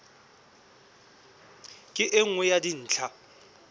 ke e nngwe ya dintlha